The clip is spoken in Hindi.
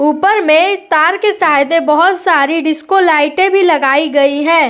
ऊपर में तार के साइड में बहुत सारी डिस्को लाइटे भी लगाई गई है।